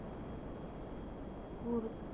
ਕੁਰ